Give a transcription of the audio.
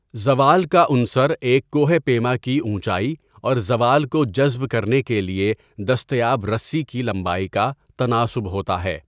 زوال کا عنصر ایک کوہ پیما کی اونچائی اور زوال کو جذب کرنے کے لیے دستیاب رسی کی لمبائی کا تناسب ہوتا ہے۔